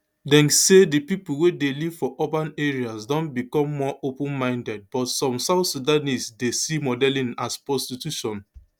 deng say di pipo wey dey live for urban areas don become more openminded but some south sudanese dey see modelling as prostitution